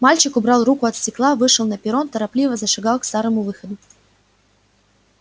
мальчик убрал руку от стекла вышел на перрон торопливо зашагал к старому выходу